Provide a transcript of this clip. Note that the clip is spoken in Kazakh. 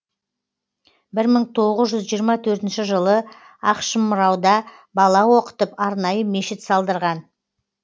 бір мың тоғыз жүз жиырма төртінші жылы ақшымырауда бала оқытып арнайы мешіт салдырған